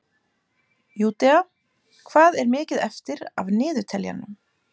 Júdea, hvað er mikið eftir af niðurteljaranum?